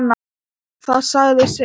Það sagði sitt.